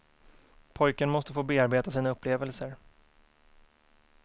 Pojken måste få bearbeta sina upplevelser.